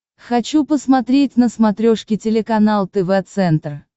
хочу посмотреть на смотрешке телеканал тв центр